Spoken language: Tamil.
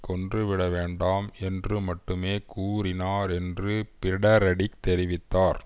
கொன்று விட வேண்டாம் என்று மட்டுமே கூறினார் என்று பிரடரிக் தெரிவித்தார்